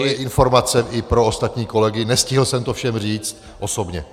To je informace i pro ostatní kolegy, nestihl jsem to všem říct osobně.